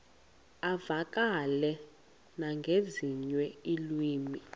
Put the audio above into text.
uvakale nangezinye iilwimi